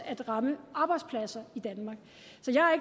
at ramme arbejdspladser i danmark